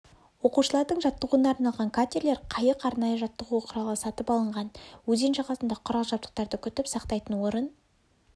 оқушылардың жаттығуына арналған катерлер қайық арнайы жаттығу құралы сатып алынған өзен жағасында құрал-жабдықтарды күтіп-сақтайтын орын